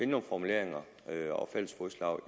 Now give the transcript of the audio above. nogle formuleringer og fælles fodslag